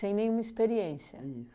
nenhuma experiência. Isso.